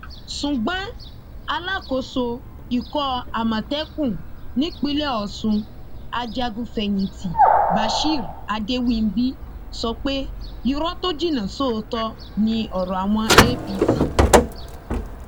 ṣùgbọn alákòóso ikọ àmọtẹkùn nípínlẹ ọsùn ajagunfẹyìntì bashir adéwìnbí sọ pé irọ tó jinná sóòótọ ni ọrọ àwọn apc